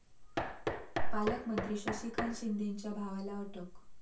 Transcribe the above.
पालकमंत्री शशिकांत शिंदेंच्या भावाला अटक